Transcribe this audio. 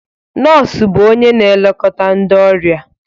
Nọọsụ bụ onye na-elekọta ndị ọrịa